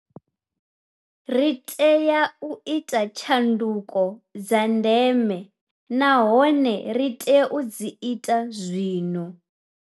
Ri tea u ita tshanduko dza ndeme nahone ri tea u dzi ita zwino.